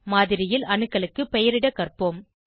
மாதிரியில் அணுக்களுக்கு பெயரிட கற்போம்